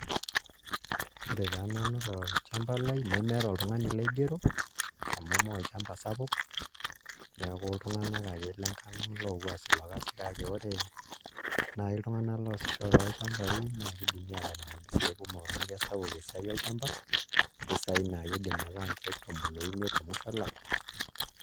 Ore taa nanu tolchamba laai nemeeta oltung'ani laigero amu mee olchamba sapuk neeku iltung'anak lenkang' ang' ake loopuo aas ilo kasi kake ore naai iltung'anak loosisho tolchambai naa kidimi aatalak mpisaai kumok amu kesapuk esiai olchamba, mpisaai naa kiidim aataa nkeek tomon oimiet te musho olapa.